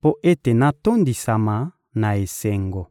mpo ete natondisama na esengo.